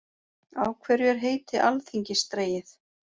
Af hverju er heiti alþingis dregið?